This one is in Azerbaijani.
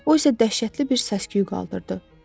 O isə dəhşətli bir səs-küy qaldırdı.